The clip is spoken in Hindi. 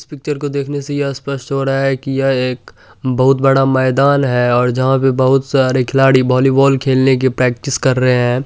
इस पिक्चर को देखने से यह स्पष्ट हो रहा है की ये एक बहुत बड़ा मैदान है जहाँ पे बहुत सारे खिलाड़ी वॉलीबॉल खेलने की प्रेक्टिस कर रहे हैं।